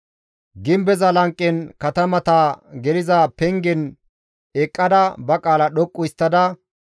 Gimbeza lanqen katamata geliza pengen eqqada ba qaala dhoqqu histtada,